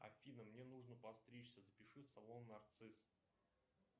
афина мне нужно подстричься запиши в салон нарцисс